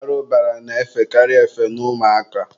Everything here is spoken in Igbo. arụbara na-efekarị efe n'ụmụ aka.